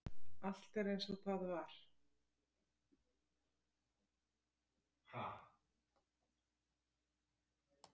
Allt er eins og það var.